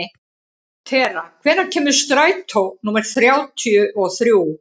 Tera, hvenær kemur strætó númer þrjátíu og þrjú?